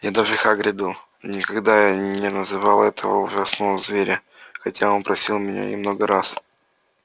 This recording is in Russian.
я даже хагриду никогда не называл этого ужасного зверя хотя он просил меня и много раз